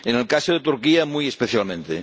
en el caso de Turquía, muy especialmente.